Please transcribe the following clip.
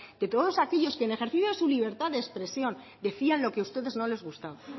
de todos aquellos que en ejercicio de su libertad de expresión decían lo que a ustedes no les gustaba